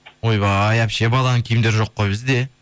ойбай әпше баланың киімдері жоқ қой бізде